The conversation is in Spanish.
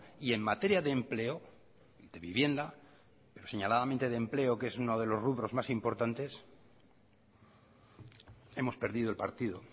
y en materia de empleo de vivienda pero señaladamente de empleo que es uno de los rubros más importantes hemos perdido el partido